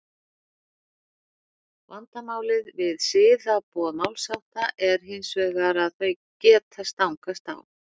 vandamálið við siðaboð málshátta er hins vegar að þau geta stangast á